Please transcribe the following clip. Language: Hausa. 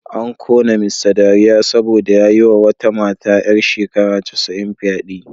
An kona Mr dariya saboda ya yi wa wata mata ‘yar shekara casa’in fyade